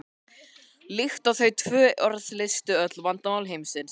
líkt og þau tvö orð leystu öll vandamál heimsins.